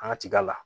An ka tiga la